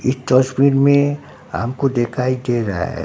Speed में हमको दिखाई दे रहा है।